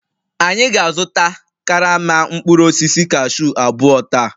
Anyị ga-azụta karama mkpụrụ osisi cashew abụọ taa